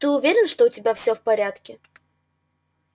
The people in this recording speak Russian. ты уверен что у тебя всё в порядке